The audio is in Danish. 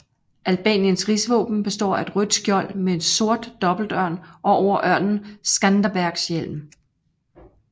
Albaniens rigsvåben består af et rødt skjold med en sort dobbeltørn og over ørnen Skanderbegs hjelm